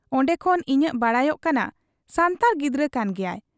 ᱚᱱᱰᱮ ᱠᱷᱚᱱ ᱤᱱᱟᱹᱜ ᱵᱟᱰᱟᱭᱚᱜ ᱠᱟᱱᱟ ᱥᱟᱱᱛᱟᱲ ᱜᱤᱫᱟᱹᱨ ᱠᱟᱱ ᱜᱮᱭᱟᱜ ᱾